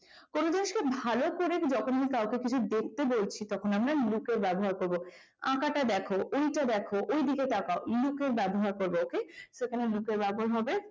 কিন্তু ভালো করে যখন কিছু দেখতে বলছি তখন আমরা look এর ব্যবহার করব। আঁকাটা দেখো, ওইটা দেখো, ওই দিকে তাকাও তখন আমরা look এর ব্যবহার করব ok তো এখানে look এর ব্যবহার হবে